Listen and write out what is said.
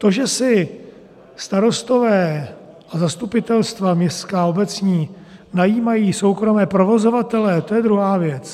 To, že si starostové a zastupitelstva městská a obecní najímají soukromé provozovatele, to je druhá věc.